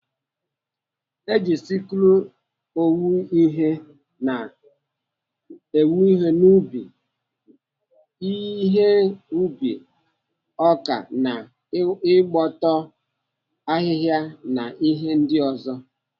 Eji siklụ owu ihe n'ubi, ihe ubi ọka na igbutu ahihia na ihe ndi ozo.